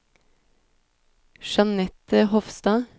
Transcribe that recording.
Jeanette Hofstad